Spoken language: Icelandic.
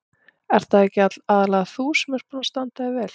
Ert það ekki aðallega þú sem ert búin að standa þig vel?